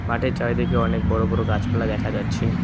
মাঠের চারিদিকে অনেক বড় বড় গাছপালা দেখা যাচ্ছে।